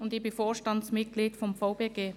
Zudem bin ich Vorstandsmitglied des VBG.